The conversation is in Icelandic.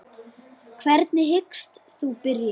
Hvernig hyggst þú byrja?